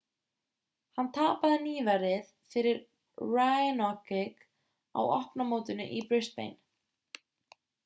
hann tapaði nýverið fyrir raonic á opna mótinu í brisbane